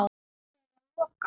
Þegar loka